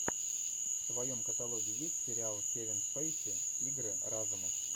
в твоем каталоге есть сериал кевин спейси игры разумов